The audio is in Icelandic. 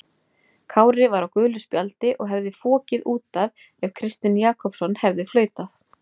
Kári var á gulu spjaldi og hefði fokið út af ef Kristinn Jakobsson hefði flautað.